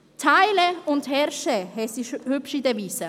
«Teile und herrsche», heisst die hübsche Devise.